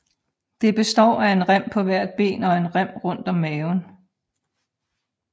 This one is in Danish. Det består af en rem på hvert ben og en rem rundt om maven